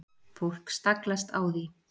Fólk staglast á því.